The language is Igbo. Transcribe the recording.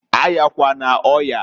A yakwana oyaǃ